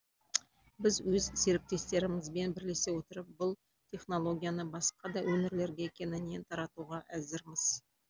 біз өз серіктестерімізбен бірлесе отырып бұл технологияны басқа да өңірлерге кеңінен таратуға әзірміз